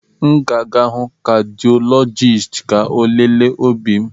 M ga-aga hụ kadịọlọjisti ka ọ lelee obi m.